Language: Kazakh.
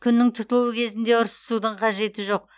күннің тұтылуы кезінде ұрсысудың қажеті жоқ